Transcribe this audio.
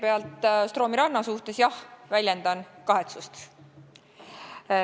Kõigepealt, Stroomi ranna juhtumi pärast, jah, väljendan kahetsust.